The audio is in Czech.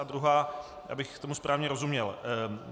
A druhá, abych tomu správně rozuměl.